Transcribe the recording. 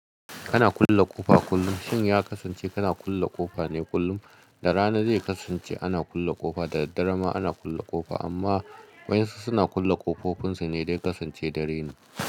Kana kulle ƙofa kullum, shin ya kasance kana kulle ƙofa ne kullum? Da rana zai kasance ana kulle ƙofa da daddare ma ana kulle ƙofa amma wa'insu suna kulle ƙofofin su ne dan kasance da raina.